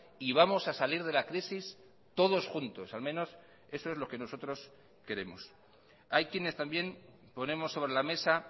y vamos a salir de la crisis todos juntos al menos eso es lo que nosotros queremos hay quienes también ponemos sobre la mesa